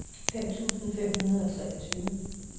fem tusind fem hundrede og treogtyve